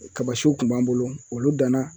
Kaba siw kun b'an bolo olu danna